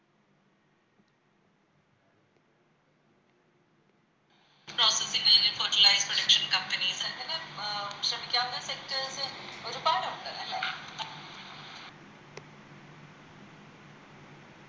കഴിഞ്ഞ് Fertilize production companies അങ്ങനെ ശ്രമിക്കാവുന്ന Sectors ഒരുപാടോണ്ട് അല്ലെ